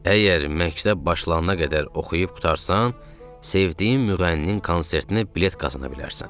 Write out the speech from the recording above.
Əgər məktəb başlanana qədər oxuyub qurtarsan, sevdiyim müğənninin konsertinə bilet qazana bilərsən.